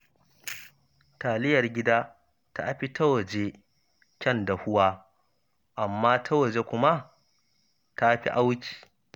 Taliyar gida ta fi ta waje kyan dahuwa, amma ta waje kuma ta fi auki